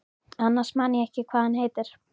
Annars man ég ekkert hvað hann heitir.